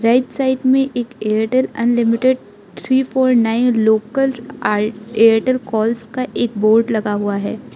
Right side में एक Airtel unlimited three four nine local आ एयरटेल कॉल्स का एक बोर्ड लगा हुआ है।